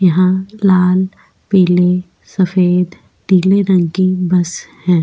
यहां लाल पीले सफेद टीले रंग की बस है.